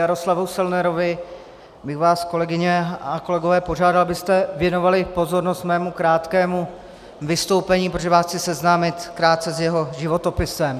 Jaroslavu Selnerovi bych vás, kolegyně a kolegové, požádal, abyste věnovali pozornost mému krátkému vystoupení, protože vás chci seznámit krátce s jeho životopisem.